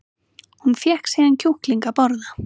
Hún fékk síðan kjúkling að borða